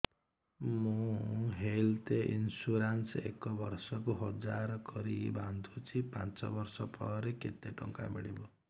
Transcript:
ମୁ health insurance ଏକ ବର୍ଷକୁ ହଜାର କରି ବାନ୍ଧୁଛି ପାଞ୍ଚ ବର୍ଷ ପରେ କେତେ ଟଙ୍କା ମିଳିବ